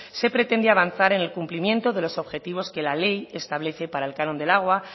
se pretende avanzar en el cumplimiento de los objetivos que la ley establece para el canon del agua